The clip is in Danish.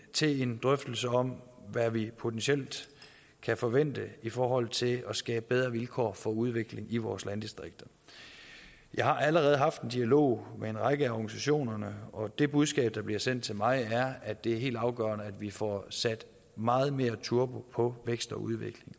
til en drøftelse om hvad vi potentielt kan forvente i forhold til at skabe bedre vilkår for udvikling i vores landdistrikter jeg har allerede haft en dialog med en række af organisationerne og det budskab der bliver sendt til mig er at det er helt afgørende at vi får sat meget mere turbo på vækst og udvikling